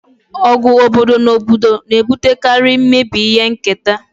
Ọgụ obodo na obodo na-ebutekarị mmebi nke ihe nketa